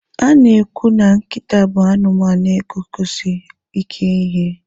A na-ekwu na nkịta bụ anụmanụ na-eguzosi ike n'ihe.